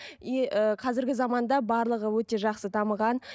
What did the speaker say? и ы қазіргі заманда барлығы өте жақсы дамыған